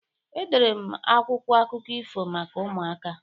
Edere m akwụkwọ akụkụ ifo maka ụmụaka.